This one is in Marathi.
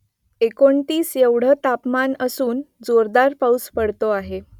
एकोणतीस एवढं तापमान असून जोरदार पाऊस पडतो आहे